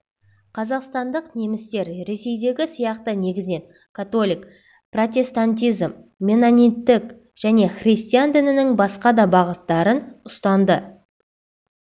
қазақстандық немістер ресейдегі сияқты негізінен католик протестантизм меннониттік және христиан дінінің басқа да бағыттарын ұстанды